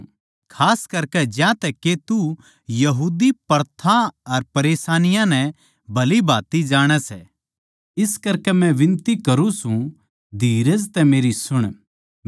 खास करकै ज्यांतै के तू यहूदी प्रथाओं अर परेशानियाँ नै भलीभाँति जाणै सै इस करकै म्ह मै बिनती करूँ सै धीरज तै मेरी सुण